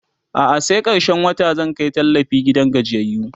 a'a sai karshen wata zan Kai tallafi gidan gajiyayyu